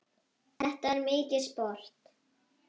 Þetta var mikið sport.